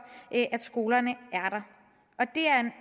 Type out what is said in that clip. at skolerne